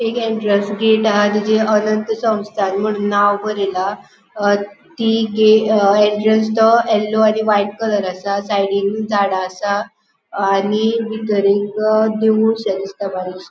एक entrance gate हा तिची अनंत संस्थान म्हणून नाव बरेला अ ती अ गेट एन्ट्रन्स तो येल्लो आणि व्हाइट कलर आसा साइडीन झाडा आसा आणि बितर एक देऊळ शे दिसता बरिक्शे.